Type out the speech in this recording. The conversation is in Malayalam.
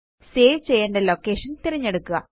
സേവ് ചെയ്യേണ്ട ലൊകെഷൻ തിരഞ്ഞെടുക്കുക